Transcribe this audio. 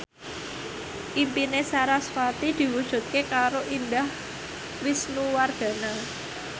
impine sarasvati diwujudke karo Indah Wisnuwardana